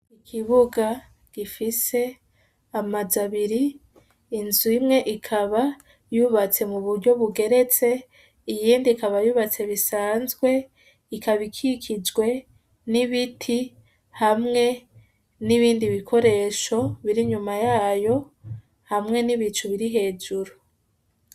Ikibuga gifise amazu abiri, inzu imwe ikaba yubatse mu buryo bugeretse, iyindi ikaba yubatse bisanzwe, ikaba ikikijwe n'ibiti hamwe n'ibindi bikoresho biri inyuma yayo hamwe n'ibicu biri hejuru.